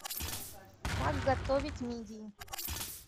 как готовить мидии